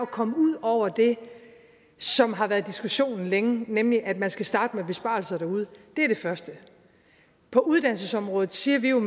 komme ud over det som har været diskussionen længe nemlig at man skal starte med besparelser derude det er det første på uddannelsesområdet siger vi jo